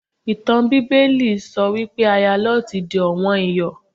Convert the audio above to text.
Ìtàn Bíbélì sọ wípé Aya Lọ́ọ̀tì di ọ̀wọ́n Iyọ̀.